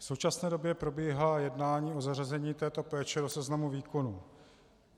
V současné době probíhá jednání o zařazení této péče do seznamu výkonů.